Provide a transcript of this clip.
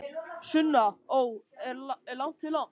Sunna: Ó, er langt í land?